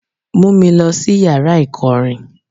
Mú mi lọ sí yàrá ìkọrin.